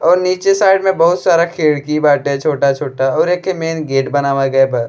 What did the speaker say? और नीच साइड में बहुत सारा खिड़की बाटे छोटा-छोटा और एक मैंंन गेट बनावा गया बा --